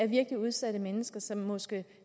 virkelig udsatte mennesker som måske